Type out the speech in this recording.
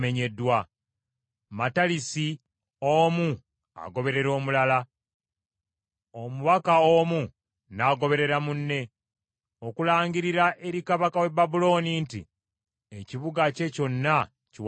Matalisi omu agoberera omulala, omubaka omu n’agoberera munne, okulangirira eri kabaka w’e Babulooni nti ekibuga kye kyonna kiwambiddwa,